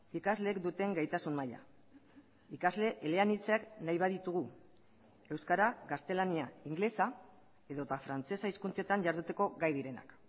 ikasleek duten gaitasun maila ikasle eleanitzak nahi baditugu euskara gaztelania ingelesa edota frantsesa hizkuntzetan jarduteko gai direnak